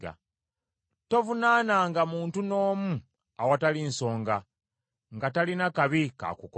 Tovunaananga muntu n’omu awatali nsonga nga talina kabi k’akukoze.